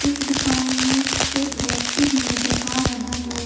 इस दुकान में एक व्यक्ति भी नजर आ रहा है।